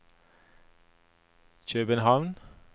København